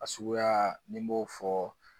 A suguya nin b'o fɔ